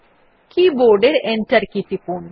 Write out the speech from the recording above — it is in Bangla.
কী বোর্ড এর এন্টার কী টিপুন